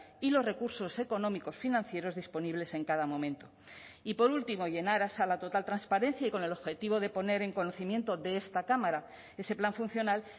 y los recursos económicos financieros disponibles en cada momento y por último y en aras a la total transparencia y con el objetivo de poner en conocimiento de esta cámara ese plan funcional